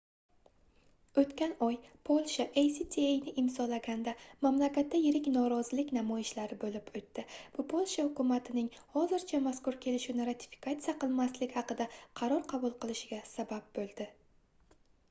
oʻtgan oy polsha actani imzolaganda mamlakatda yirik norozilik namoyishlari boʻlib oʻtdi bu polsha hukumatining hozircha mazkur kelishuvni ratifikatsiya qilmaslik haqida qaror qabul qilishiga sabab boʻldi